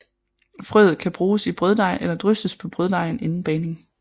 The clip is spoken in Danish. Frøet kan bruges i brøddej eller drysses på brøddejen inden bagning